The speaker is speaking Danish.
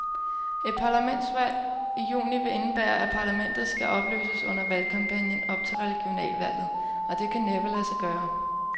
Et parlamentsvalg i juni vil indebære, at parlamentet skal opløses under valgkampagnen op til regionalvalget, og det kan næppe lade sig gøre.